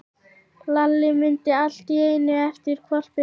Lalli mundi allt í einu eftir hvolpinum.